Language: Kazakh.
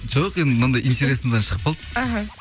жоқ енді мынандай интересныйдан шығып қалды іхі